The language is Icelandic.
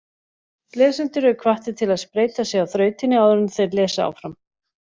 Lesendur eru hvattir til að spreyta sig á þrautinni áður en þeir lesa áfram.